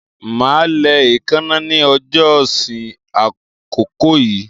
Màá lẹ ẹ̀ẹ́káná ní ọjọ́ sí àkókò yíì